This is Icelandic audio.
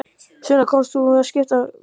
Sunna, komst þú með bók til að skipta?